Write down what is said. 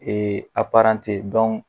Ee